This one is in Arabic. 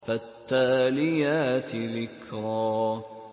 فَالتَّالِيَاتِ ذِكْرًا